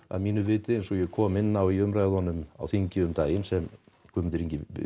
að mínu viti eins og ég kom inn á í umræðunum á þingi um daginn sem Guðmundur Ingi